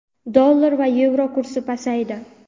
Dollar va yevro kursi pasaydi.